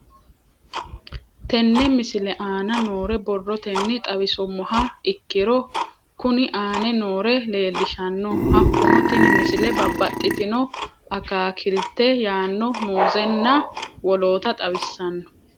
Tenne misile aana noore borrotenni xawisummoha ikirro kunni aane noore leelishano. Hakunno tinni misile babbaxitinno akaakilte yaano muuzenna woloota xawissanno.